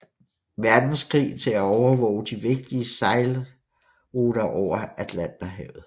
Verdenskrig til at overvåge de vigtige sejlruter over Atlanterhavet